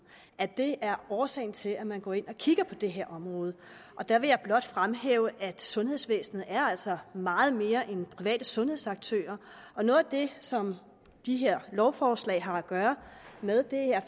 at det er årsagen til at man går ind og kigger på det her område der vil jeg blot fremhæve at sundhedsvæsenet altså er meget mere end private sundhedsaktører og noget af det som de her lovforslag har at gøre med